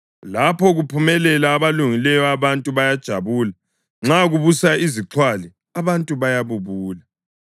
Lapho kuphumelela abalungileyo abantu bayajabula; nxa kubusa izixhwali abantu bayabubula.